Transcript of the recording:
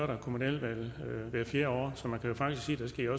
der kommunalvalg hvert fjerde år så man kan jo faktisk sige